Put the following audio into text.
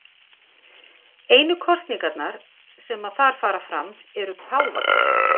Einu kosningarnar sem þar fara fram eru páfakjör.